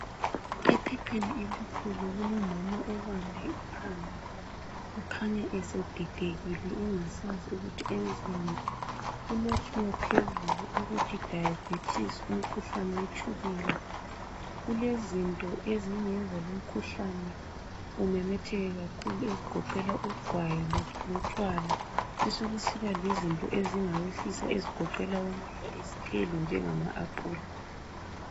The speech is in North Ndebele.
Ephepheni elikhulu kulomama obambe ikhanda okhanya esedidekile engasazi kuthi wenzeni , kulotshiwe phezulu ukuthi diabetes umkhuhlane wetshukela , kulezinto ezingenza lo umkhuhlane imemetheke kakhulu ezigoqela ugwayi lotshwala besokusiba lezinto ezingawehlisa ezigoqela izithelo njengama aphula